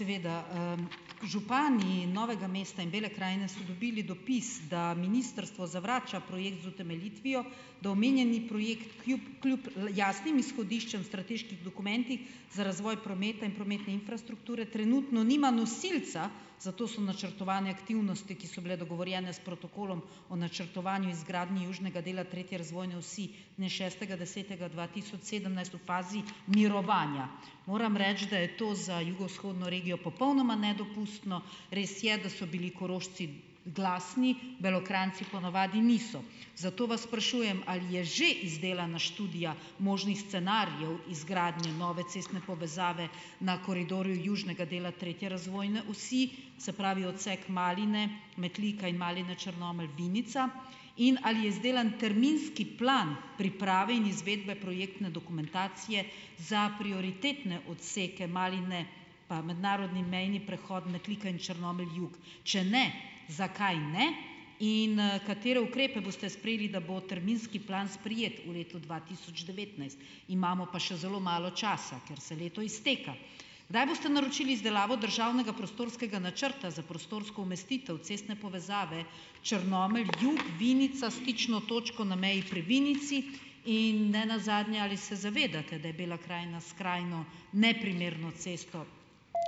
Seveda, župani Novega mesta in Bele krajine so dobili dopis, da ministrstvo zavrača projekt z utemeljitvijo, da omenjeni projekt kljub jasnim izhodiščem strateških dokumentih za razvoj prometa in prometne infrastrukture trenutno nima nosilca, zato so načrtovane aktivnosti, ki so bile dogovorjene s protokolom o načrtovanju izgradnji južnega dela tretje razvojne osi dne šestega desetega dva tisoč sedemnajst, v fazi mirovanja. Moram reči, da je to za jugovzhodno regijo popolnoma nedopustno. Res je, da so bili Korošci glasni, Belokranjci ponavadi niso. Zato vas sprašujem, ali je že izdelana študija možnih scenarijev izgradnje nove cestne povezave na koridorju južnega dela tretje razvojne osi, se pravi odsek Maline, Metlika in Maline-Črnomelj-Vinica, in ali je izdelan terminski plan priprave in izvedbe projektne dokumentacije za prioritetne odseke Maline pa mednarodni mejni prehod Metlika in Črnomelj jug. Če ne, zakaj ne? In, katere ukrepe boste sprejeli, da bo terminski plan sprejet v letu dva tisoč devetnajst. Imamo pa še zelo malo časa, ker se leto izteka. Kdaj boste naročili izdelavo državnega prostorskega načrta za prostorsko umestitev cestne povezave Črnomelj jug -Vinica stično točko na meji pri Vinici? In nenazadnje, ali se zavedate, da je Bela krajina skrajno neprimerno cesto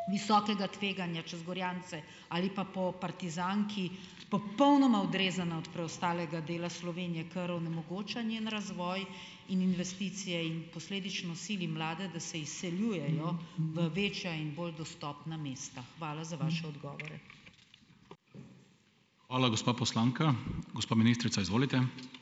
visokega tveganja čez Gorjance. Ali pa po Partizanki popolnoma odrezana od preostalega dela Slovenije, kar onemogoča njen razvoj in investicije in posledično sili mlade, da se izseljujejo v večja in bolj dostopna mesta. Hvala za vaše odgovore. Hvala, gospa poslanka. Gospa ministrica, izvolite.